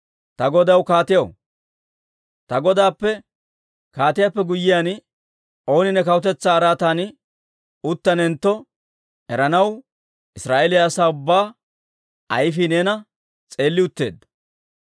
Ta godaw kaatiyaw, ta godaappe kaatiyaappe guyyiyaan ooni ne kawutetsaa araatan uttanentto eranaw Israa'eeliyaa asaa ubbaa ayfii neena s'eelli utteedda.